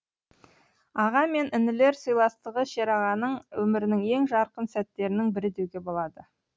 аға мен інілер сыйластығы шерағаның өмірінің ең жарқын сәттерінің бірі деуге болады